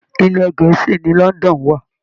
Ilẹ̀ Gẹ̀ẹ́sì ni London wà